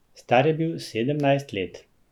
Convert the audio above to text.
Star je bil sedemnajst let.